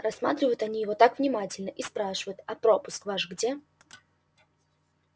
рассматривают они его так внимательно и спрашивают а пропуск ваш где